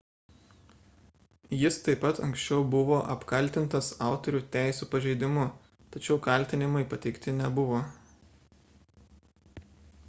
jis taip pat anksčiau buvo apkaltintas autorių teisių pažeidimu tačiau kaltinimai pateikti nebuvo